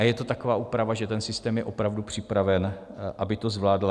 A je to taková úprava, že ten systém je opravdu připraven, aby to zvládl?